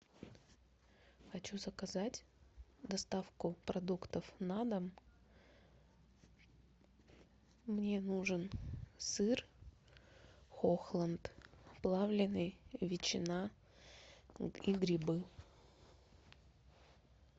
хочу заказать доставку продуктов на дом мне нужен сыр хохланд плавленный ветчина и грибы